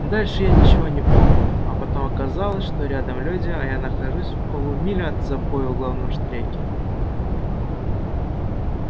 дальше я ничего не помню а потом оказалось что рядом люди а я нахожусь в полумиле от забоя в главном штреке